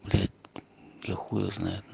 блять я хуй его знает но